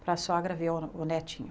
Para a sogra ver o o netinho.